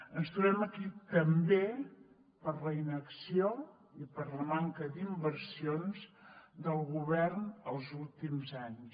ens trobem aquí també per la inacció i per la manca d’inversions del govern els últims anys